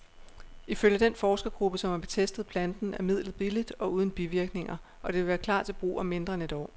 Ifølge den forskergruppe, som har testet planten, er midlet billigt og uden bivirkninger, og det vil klar til brug om mindre end et år.